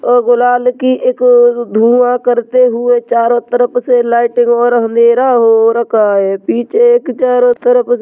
और गुलाल की एक धुआं करते हुए चारों तरफ से लाइटिंग और अंधेरा हो रखा है पीछे एक चारों तरफ से --